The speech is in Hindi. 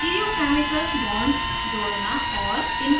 स्टीरियो केमिकल stereochemical bonds जोड़ना और